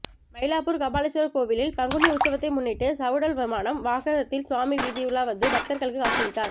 மயிலாப்பூர் கபாலீஸ்வர் கோவிலில் பங்குனி உற்சவத்தை முன்னிட்டு சவுடல் விமானம் வாகனத்தில் சுவாமி வீதியுலா வந்து பக்தர்களுக்கு காட்சியளித்தார்